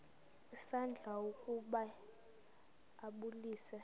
isandla ukuba ambulise